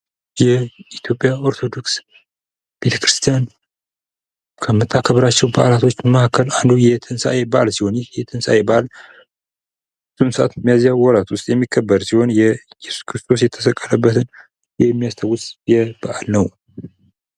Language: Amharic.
የኢትዮጵያ ኦርቶዶክስ ቤተክርስቲያን ከምታከብራቸዉ በዓላቶች መካከል አንዱ የትንሳኤ በዓል ሲሆን ይህ የትንሳኤ በዓል በአሁኑ ሰዓት ሚያዚያ ወር የሚከበር ሲሆን የኢየሱስ ክርስቶስን የተሰቀለበትን የሚያስታዉስ በዓል ነዉ።